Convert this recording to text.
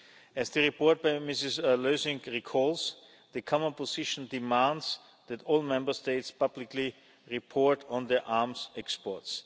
As the report by Ms Lösing recalls, the Common Position demands that all Member States publicly report on their arms exports.